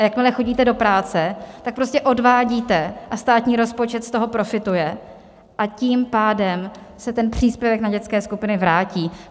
A jakmile chodíte do práce, tak prostě odvádíte a státní rozpočet z toho profituje, a tím pádem se ten příspěvek na dětské skupiny vrátí.